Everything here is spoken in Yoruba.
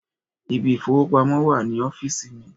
Ibi ìfipamọ́ wà ní ọ́fíìsì mi.